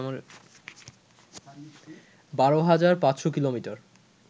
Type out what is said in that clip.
১২ হাজার ৫শ’ কিলোমিটার